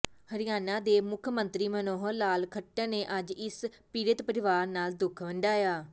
ਹਰਿਆਣਾ ਦੇ ਮੁੱਖ ਮੰਤਰੀ ਮਨੋਹਰ ਲਾਲ ਖੱਟਰ ਨੇ ਅੱਜ ਇਸ ਪੀੜਤ ਪਰਿਵਾਰ ਨਾਲ ਦੁੱਖ ਵੰਡਾਇਆ